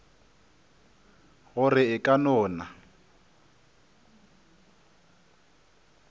gore e ka no na